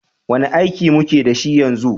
Wane aiki muke da shi yanzu?